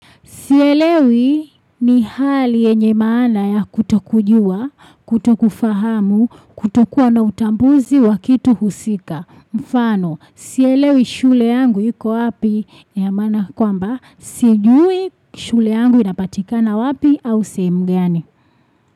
Sielewi ni hali yenye maana ya kutokujua, kutokufahamu, kutokuwa na utambuzi wa kitu husika. Mfano, sielewi shule yangu iko wapi ina maana kwamba Sijui shule yangu inapatikana wapi au sehemu gani.